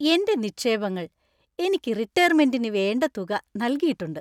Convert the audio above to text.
എന്‍റെ നിക്ഷേപങ്ങൾ എനിക്ക് റിട്ടയര്‍മെന്‍റിന് വേണ്ട തുക നൽകിയിട്ടുണ്ട്.